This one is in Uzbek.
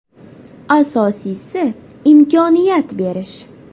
Asosiysi imkoniyat berish.